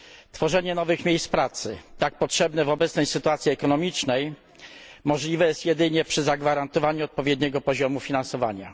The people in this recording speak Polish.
Tworzenie nowych miejsc pracy, tak potrzebne w obecnej sytuacji ekonomicznej, możliwe jest jedynie przy zagwarantowaniu odpowiedniego poziomu finansowania.